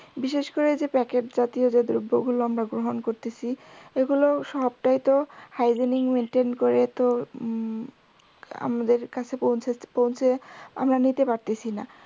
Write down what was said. বিশেষ করে প্যাকেট জাতীয় যে দ্রব্য গুলো আমরা গ্রহন করতেছি ওই গুলো সবটাই তো hygiene maintain করে তো হম আমাদের কাছে পৌঁছাতে পৌঁছে আমরা নিতে পারতেছিনা